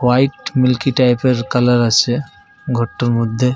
White milky type এর colour আছে ঘরটার মধ্যে।